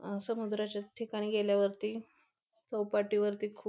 अ समुद्राच्या ठिकाणी गेल्यावरती चौपाटी वरती खु --